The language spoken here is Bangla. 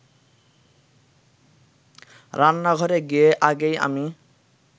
রান্নাঘরে গিয়ে আগেই আমি